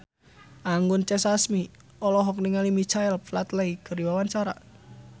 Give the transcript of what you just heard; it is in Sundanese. Anggun C. Sasmi olohok ningali Michael Flatley keur diwawancara